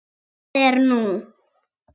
Hvað er nú?